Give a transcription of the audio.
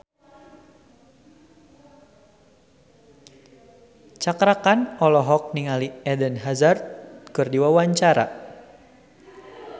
Cakra Khan olohok ningali Eden Hazard keur diwawancara